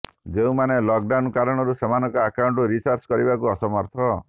ଯେଉଁମାନେ lockdown କାରଣରୁ ସେମାନଙ୍କ ଆକାଉଣ୍ଟ ରିଚାର୍ଜ କରିବାକୁ ଅସମର୍ଥ